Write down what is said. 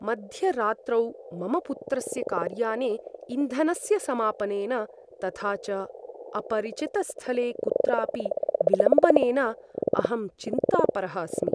मध्यरात्रौ मम पुत्रस्य कार्याने इन्धनस्य समापनेन, तथा च अपरिचितस्थले कुत्रापि विलम्बनेन अहं चिन्तापरः अस्मि।